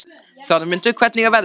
Þormundur, hvernig er veðrið úti?